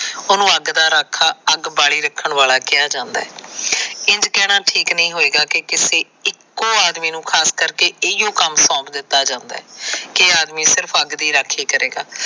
ਉਹਨੂੰ ਅੱਗ ਦਾ ਰਾਖਾ ਅੱਗ ਬਾਲੀ ਰੱਖਣ ਵਾਲਾ ਕਿਹਾ ਜਾਦਾ ਹੈ। ਇੰਝ ਕਹਿਣਾ ਠੀਕ ਨਹੀ ਹੋਏਗਾ ਕਿ ਕਿਸੀ ਇਕੋ ਆਦਮੀ ਨੂੰ ਖਾਸ ਕਰਕੇ ਇਹੀਉ ਕੰਮ ਸੌਪ ਦਿੱਤਾ ਜਾਦਾ ਹੈ ਕਿ ਇਹ ਆਦਮੀ ਸਿਰਫ ਅੱਗ ਦੀ ਰਾਖੀ ਕਰੇਗਾ।